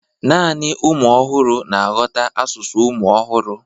naanị ụmụ ọhụrụ na-aghọta asụsụ ụmụ ọhụrụ.